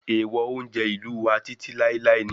Èèwọ̀ oúnjẹ ìlú wa títí láíláí ni